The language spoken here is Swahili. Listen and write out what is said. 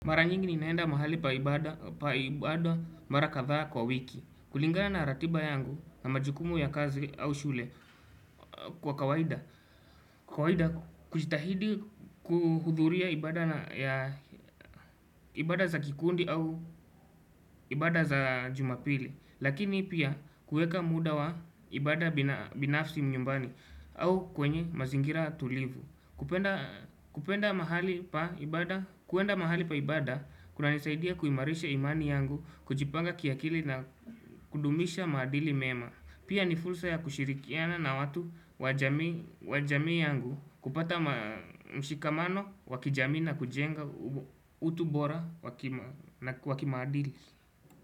Mara nyingi ninaenda mahali pa ibada mara kadhaa kwa wiki. Kulingana na ratiba yangu na majukumu ya kazi au shule kwa kawaida. Kawaida kujitahidi kuhudhuria ibada za kikundi au ibada za jumapili. Lakini pia kuweka muda wa ibada binafsi nyumbani au kwenye mazingira tulivu. Kupenda mahali pa ibada, kuna nisaidia kuimarisha imani yangu, kujipanga kiakili na kudumisha maadili mema Pia ni fursa ya kushirikiana na watu wajamii yangu, kupata mshikamano, wakijamii na kujenga utu bora wakimaadili.